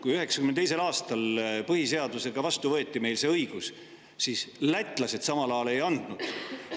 Kui 1992. aastal võeti meil see õigus koos põhiseadusega vastu, siis lätlased samal ajal seda õigust ei andnud.